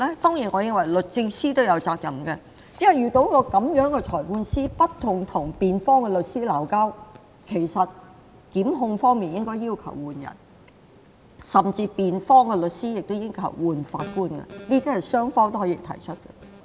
當然，我認為律政司也有責任，因為遇到這樣不斷跟辯方律師爭吵的裁判官，檢控方面應該要求換人，甚至辯方律師亦應要求更換法官，雙方都可以提出。